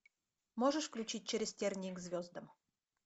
можешь включить через тернии к звездам